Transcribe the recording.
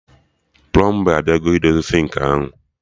Plọmba abịago idozi sịnkị ahụ